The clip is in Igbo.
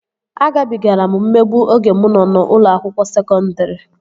Agabigara m mmegbu oge mụ nọ n'ụlọ akwụkwọ sekọndri